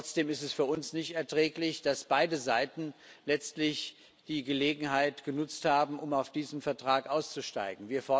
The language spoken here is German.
Trotzdem ist es für uns nicht erträglich, dass beide Seiten letztlich die Gelegenheit genutzt haben, um aus diesem Vertrag auszusteigen.